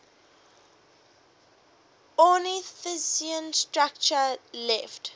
ornithischian structure left